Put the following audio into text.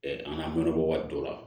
an ka mɔnɔ bɔ waati dɔ la